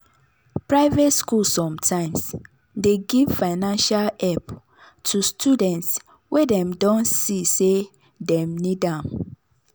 private schools sometimes dey give financial help to students wey dem don see say dem need am.